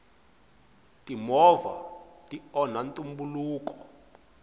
timovha ti onha ntumbuluko